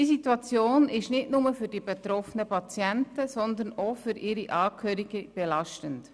Diese Situation ist nicht nur für die betroffenen Patienten, sondern ebenfalls für ihre Angehörigen belastend.